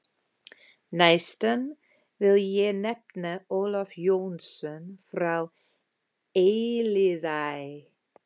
Næstan vil ég nefna Ólaf Jónsson frá Elliðaey.